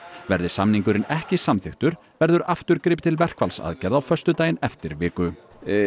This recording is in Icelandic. verði samningurinn ekki samþykktur verður aftur gripið til verkfallsaðgerða á föstudaginn eftir viku